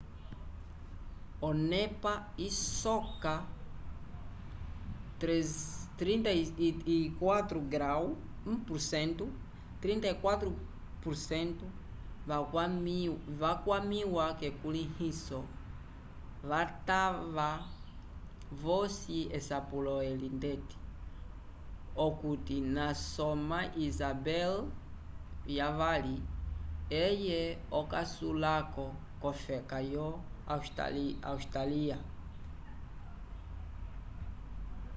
onepa isoka 34% vakwamĩwa k'ekulĩliso vatava vosi esapulo eli ndeti okuti nasoma isabel ii eye okasulako v'ofeka yo austália